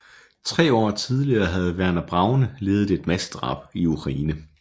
Tre år tidligere havde Werner Braune ledet et massedrab i Ukraine